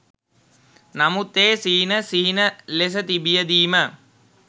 නමුත් ඒ සිහින සිහින ලෙස තිබියදී ම